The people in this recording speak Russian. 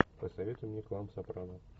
посоветуй мне клан сопрано